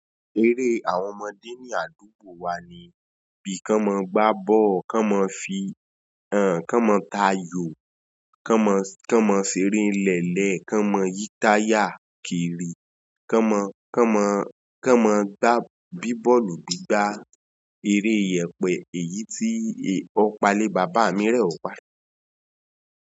Eré àwọn ọmọdé ní àdúgbò wa ni bí kán mo gbá bọ, kán mo fi, kán mo ta ayò, kán mo ṣeré n lẹ́lẹ̀, kán mo yí táyà kiri, kán mo gbá bíbọ̀lù gbígbá, eré ìyẹ̀pẹ̀ èyí tí ọ̀pá lé bàbá mi rẹ̀wà.